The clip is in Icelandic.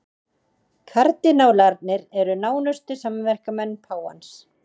Kardinálarnir eru nánustu samverkamenn páfans